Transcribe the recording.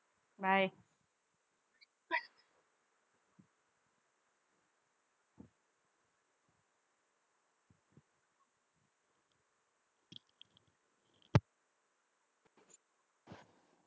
bye